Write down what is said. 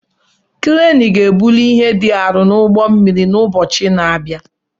Kreenụ ga-ebuli ihe dị arọ n'ụgbọ mmiri n'ụbọchị na-abịa.